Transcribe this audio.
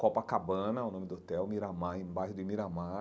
Copacabana, o nome do hotel, Miramar, embaixo de Miramar.